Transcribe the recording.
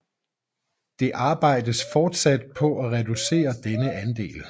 Det arbejdes fortsat på at reducere denne andel